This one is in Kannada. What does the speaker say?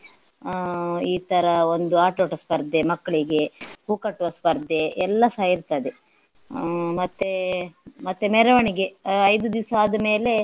ಅಹ್ ಹಾ ಈ ತರ ಒಂದು ಆಟೋಟ ಸ್ಪರ್ಧೆ ಮಕ್ಳಿಗೆ ಹೂ ಕಟ್ಟುವ ಸ್ಪರ್ಧೆ ಎಲ್ಲಸ ಇರ್ತದೆ ಹ್ಮ್ ಮತ್ತೆ ಮತ್ತೆ ಮೆರವಣಿಗೆ ಐದು ದಿವಸ ಆದ್ಮೇಲೆ